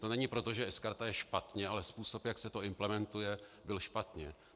To není proto, že sKarta je špatně, ale způsob, jak se to implementuje, byl špatně.